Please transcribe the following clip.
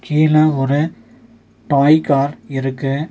கீழ ஒரு toy car இருக்கு.